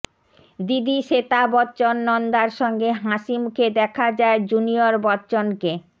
দিদি শ্বেতা বচ্চন নন্দার সঙ্গে হাসি মুখে দেখা যায় জুনিয়র বচ্চনকে